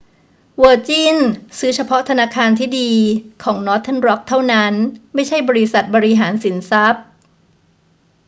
เวอร์จินซื้อเฉพาะ ธนาคารที่ดี' ของนอร์เทิร์นร็อกเท่านั้น ไม่ใช่บริษัทบริหารสินทรัพย์